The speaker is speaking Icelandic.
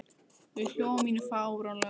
Og ég hló að mínu fáránlega æði.